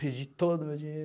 Perdi todo o meu dinheiro.